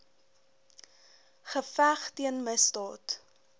geveg teen misdaad